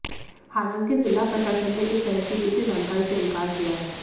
हालांकि जिला प्रशासन ने इस तरह की किसी जानकारी से इंकार किया है